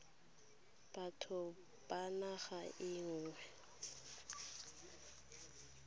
batho ba naga e nngwe